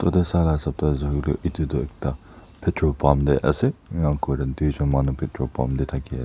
edu tu sala hisap tu ase koilaetu edu tu ekta petrol pump tae ase enna kurina tuijon manu petrol pump tae thaki--